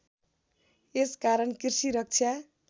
यस कारण कृषि रक्षा